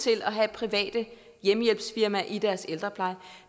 til at have private hjemmehjælpsfirmaer i deres ældrepleje